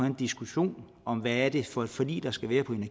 en diskussion om hvad det er for et forlig der skal være på